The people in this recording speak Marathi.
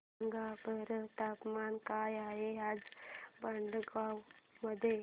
सांगा बरं तापमान काय आहे आज भडगांव मध्ये